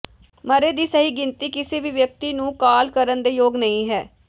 ਮਰੇ ਦੀ ਸਹੀ ਗਿਣਤੀ ਕਿਸੇ ਵੀ ਵਿਅਕਤੀ ਨੂੰ ਕਾਲ ਕਰਨ ਦੇ ਯੋਗ ਨਹੀ ਹੈ